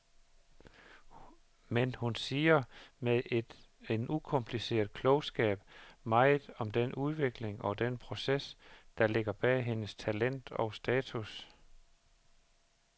Men hun siger med en ukompliceret klogskab meget om den udvikling og den proces, der ligger bag hendes talent og status.